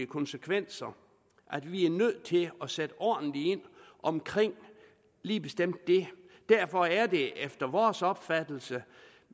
konsekvenser at vi er nødt til at sætte ordentligt ind omkring lige bestemt det derfor er det efter vores opfattelse